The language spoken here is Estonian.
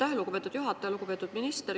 Aitäh, lugupeetud juhataja!